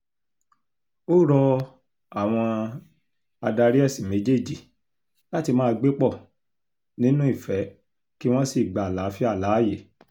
ó rọ àwọn adarí ẹ̀sìn méjèèjì láti máa gbé pọ̀ nínú ìfẹ́ kí wọ́n sì gba àlàáfíà láàyè